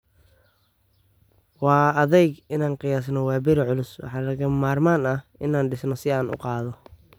"Waa adag inaan qiyaaso waaberi culus - waxaa lagama maarmaan ah inaan dishno si aan u qaado."